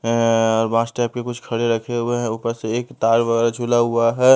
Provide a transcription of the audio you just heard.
और बास टाइप के कुछ खड़े रखे हुए हैं ऊपर से एक तार वगैरह झुला हुआ है।